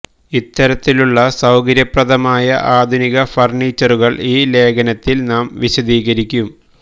ഇത്തരത്തിലുള്ള സൌകര്യപ്രദമായ ആധുനിക ഫർണീച്ചറുകൾ ഈ ലേഖനത്തിൽ നാം വിശദീകരിക്കും